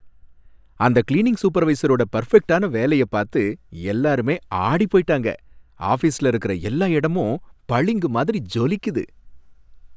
அந்த கிளீனிங் சூப்பர்வைசரோட பர்ஃபெக்ட்டான வேலைய பாத்து எல்லாருமே ஆடிப் போயிட்டாங்க. ஆஃபீஸ்ல இருக்குற எல்லா இடமும் பளிங்கு மாதிரி ஜொலிக்குது.